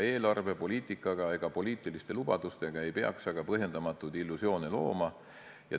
Eelarvepoliitikaga ega poliitiliste lubadustega ei peaks põhjendamatuid illusioone looma.